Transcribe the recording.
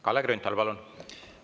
Kalle Grünthal, palun!